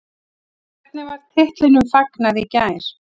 En hvernig var titlinum fagnað í gær?